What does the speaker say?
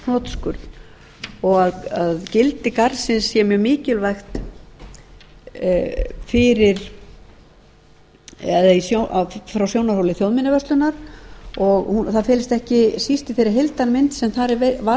hnotskurn og gildi garðsins sé mjög mikilvægt frá sjónarhóli þjóðminjavörslunnar og það felist ekki síst í þeirri heildarmynd sem þar er varðveitt